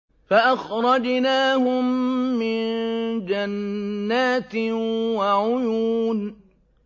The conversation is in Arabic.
فَأَخْرَجْنَاهُم مِّن جَنَّاتٍ وَعُيُونٍ